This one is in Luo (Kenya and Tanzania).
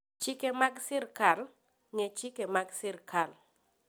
Chike mag Sirkal: Ng'e chike mag sirkal.